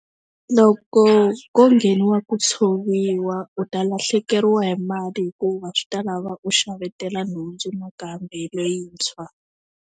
Loko ko ngheniwa ku tshoviwa u ta lahlekeriwa hi mali hikuva swi ta lava u xavetela nhundzu nakambe leyintshwa.